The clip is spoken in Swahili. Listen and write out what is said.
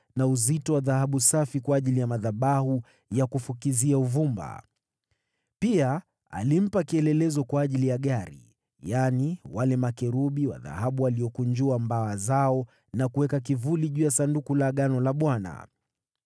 na uzito wa dhahabu safi kwa ajili ya madhabahu ya kufukizia uvumba. Pia alimpa kielelezo kwa ajili ya gari, yaani, wale makerubi wa dhahabu waliokunjua mbawa zao na kuweka kivuli juu ya Sanduku la Agano la Bwana .